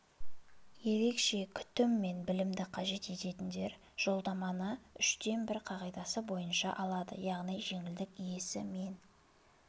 ерекше күтім мен білімді қажет ететіндер жолдаманы үштен бір қағидасы бойынша алады яғни жеңілдік иесі мен